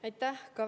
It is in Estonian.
Aitäh!